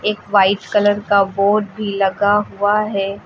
White colour का board भी लगा हुआ है।